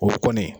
O kɔni